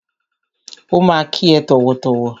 Ó ma kí ẹ tọ̀wọ̀tọ̀wọ̀.